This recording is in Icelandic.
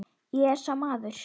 Ég er sá maður.